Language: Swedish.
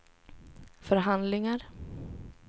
förhandlingar